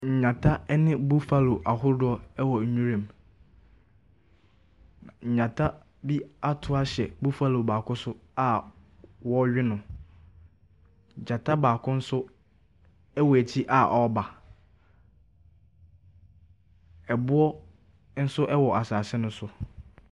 Nnyata ne buffallo ahodoɔ wɔ nwira mu. Na nnyata bi ato ahyɛ buffallo baako so a wɔrewe no. Gyata baako nso wɔ akyiri a ɔreba. Ɛboɔ nso wɔ asase no so.